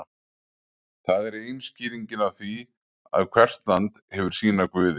það er ein skýringin á því að hvert land hefur sína guði